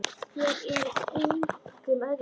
Þér og engum öðrum.